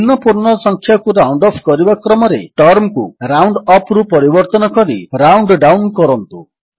ନିମ୍ନ ପୂର୍ଣ୍ଣ ସଂଖ୍ୟାକୁ ରାଉଣ୍ଡ ଅଫ୍ କରିବା କ୍ରମରେ ଟର୍ମକୁ ରାଉଣ୍ଡଅପ୍ ରୁ ପରିବର୍ତ୍ତନ କରି ରାଉଣ୍ଡଡାଉନ୍ କରନ୍ତୁ